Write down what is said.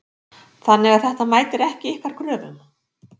Þannig að þetta mætir ekki ykkar kröfum?